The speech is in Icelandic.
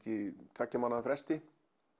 tveggja mánaða fresti